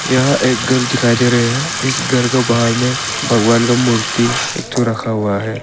यहां एक घर दिखाई दे रहे हैं इस घर का बाहर में भगवान का मूर्ति एक ठो रखा हुआ है।